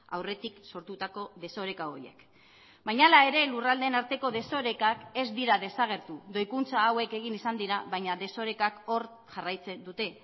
aurretik sortutako desoreka horiek baina hala ere lurraldeen arteko desorekak ez dira desagertu doikuntza hauek egin izan dira baina desorekak hor jarraitzen dute